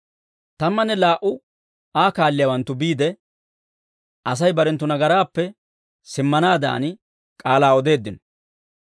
Tammanne laa"u Aa kaalliyaawanttu biide, Asay barenttu nagaraappe simmanaadan, k'aalaa odeeddino.